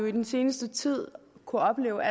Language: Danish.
i den seneste tid kunnet opleve